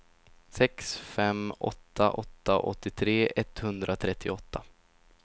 sex fem åtta åtta åttiotre etthundratrettioåtta